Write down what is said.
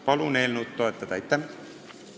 Palun eelnõu toetada!